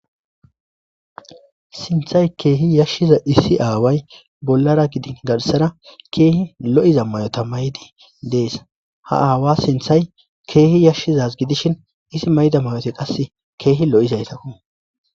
sinthay keehi yashshiza issi aaway bollara gidi gadhisara keehi lo7iza mayota maydi dees ha aawa sinthay keehi yashshizaz gidishin isi mayda mayoti qase keehi lo7izaytakku